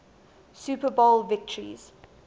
super bowl victories